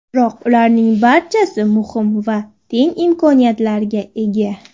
Biroq ularning barchasi muhim va teng imkoniyatlarga ega.